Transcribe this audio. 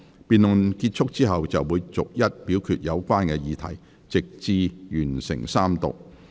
辯論結束後，會逐一表決有關議題，直至完成三讀。